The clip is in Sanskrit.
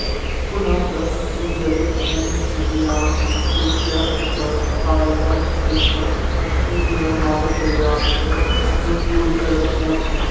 पुनः च अस्मिन् जले अन्यनदीनाम् अपेक्षया अधिकः आम्लजनकः अस्ति यः मानवशरीरास्य अनुकूलकरः न